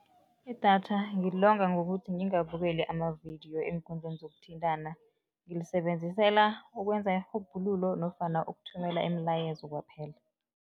Idatha ngilonga ngokuthi ngingabukeli amavidiyo eenkundleni zokuthintana, ngilisebenzisela ukwenza irhubhululo nofana ukuthumela imilayezo kwaphela.